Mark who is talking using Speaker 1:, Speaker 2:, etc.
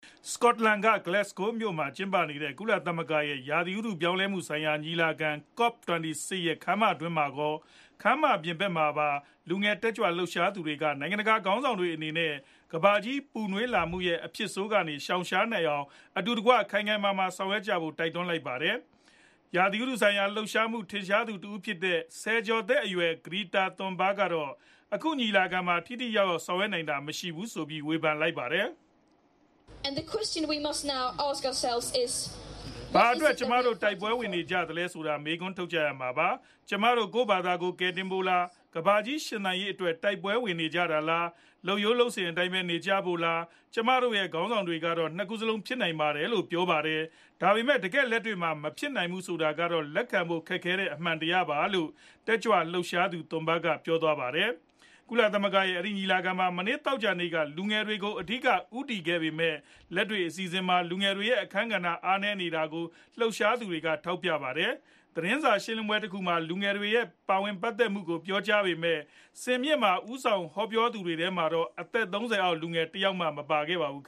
Speaker 1: စကော့တလန်က Glasgow မြို့မှာ ကျင်းပတဲ့ ကုလသမဂ္ဂရဲ့ ရာသီဥတု ပြောင်းလဲမှု ဆိုင်ရာ ညီလာခံ - COP26 ရဲ့ ခန်းမတွင်းမှာကော ခန်းမအပြင်ဖက်မှာပါ လူငယ်တက်ကြွလှုပ်ရှားသူတွေက နိုင်ငံတကာခေါင်းဆောင်တွေအနေနဲ့ ကမ္ဘာကြီးပူနွေးလာမှုရဲ့ အဖြစ်ဆိုးကြီးကနေ ရှောင်ရှားနိုင်အောင် ကမ္ဘာခေါင်းဆောင်တွေအနေနဲ့ အတူတကွ ခိုင်ခိုင်မာမာဆောင်ရွက်ကြဖို့ တိုက်တွန်းလိုက်ပါတယ်။ ရာသီဥတုဆိုင်ရာ လှုပ်ရှားမှုမှာ ထင်ရှားသူ တဦးဖြစ်တဲ့ ဆယ်ကျော်သက်အရွယ် Greta Thunberg ကတော့ အခုညီလာခံမှာ ထိထိရောက်ရောက် ဆောင်ရွက်နိုင်တာ မရှိခဲ့ဘူးဆိုပြီး ဝေဖန်ခဲ့တာပါ
Speaker 2: ။ “
Speaker 1: ဘာအတွက် ကျမတို့ တိုက်ပွဲဝင်နေသလဲဆိုတာ မေးခွန်းထုတ်ကြရမှာပါ။ ကျမတို့ ကိုယ့်ဖာသာ ကယ်တင်ဖို့လား၊ ကမ္ဘာကြီး ရှင်သန်ရေးအတွက် တိုက်ပွဲဝင်နေကြတာလား၊ လုပ်ရိုးလုပ်စဉ်အတိုင်းပဲ နေကြဖို့လား။ ကျမတို့ရဲ့ ခေါင်းဆောင်တွေကတော့ ၂ ခုစလုံး ဖြစ်နိုင်ပါတယ်လို့ ပြောကြပါတယ်။ ဒါပေမဲ့ တကယ့်လက်တွေ့မှာ မဖြစ်နိုင်ဘူးဆိုတာကတော့ လက်ခံဖို့ခက်တဲ့ အမှန်တရားပါ။” လို့ တက်ကြွလှုပ်ရှားသူ Thunberg ကပြောသွားတာပါ။ ကုလသမဂ္ဂရဲ့အဲဒီညီလာခံမှာ မနေ့သောကြာနေ့က လူငယ်တွေကို အဓိက ဦးတည်ခဲ့ပေမယ့် လက်တွေ့ အစီအစဉ်တွေမှာ လူငယ်တွေ အခန်းကဏ္ဍ အားနည်းနေတာကိုလည်း လှုပ်ရှားသူတွေ ထောက်ပြခဲ့ကြပါတယ်။ သတင်းစာရှင်းလင်းပွဲတခုမှာ လူငယ်တွေရဲ့ပါဝင်ပတ်သက်မှုကို ပြောကြားပေမဲ့ စင်မြင့်ပေါ်က ဦးဆောင်ပြောသူတွေထဲမှာတော့ အသက် ၃ဝ အောက် လူငယ်တယောက်မှ မပါခဲ့ကြပါဘူး။